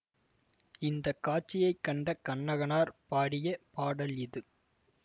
இந்த காட்சியை கண்ட கண்ணகனார் பாடிய பாடல் இது